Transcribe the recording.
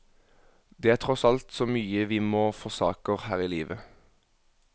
Det er tross alt så mye vi må forsaker her i livet.